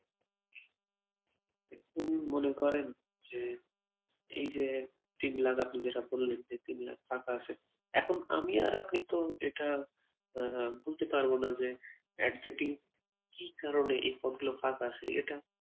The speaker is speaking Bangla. আপনি কি মনে করেন যে এই যে তিন লাখ, আপনি যেটা বললেন যে তিন লাখ ফাঁকা আছে এখন আমি আর আপনি তো এটা আহ বলতে পারবোনা যে exactly কি কারণে এই পদগুলো ফাঁকা আছে এটা